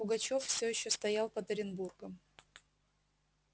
пугачёв все ещё стоял под оренбургом